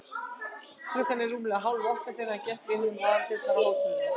Klukkan var rúmlega hálfátta, þegar hann gekk inn um aðaldyrnar á hótelinu.